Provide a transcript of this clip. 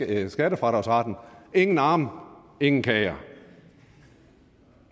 vil have skattefradragsretten ingen arme ingen kager